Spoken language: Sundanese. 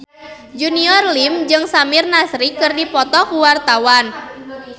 Junior Liem jeung Samir Nasri keur dipoto ku wartawan